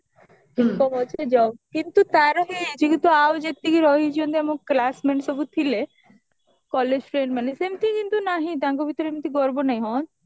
income ଅଛି job କିନ୍ତୁ ତାର ହେଇଯାଇଛି କିନ୍ତୁ ଆଉ ଯେତିକି ରହିଛନ୍ତି ଆମ classmate ସବୁ ଥିଲେ college friend ମାନେ ସେମିତି କିନ୍ତୁ ନାହିଁ ତାଙ୍କ ଭିତରେ ଏମିତି ଗର୍ବ ନାହି ହଁ